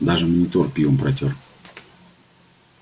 даже монитор пивом протёр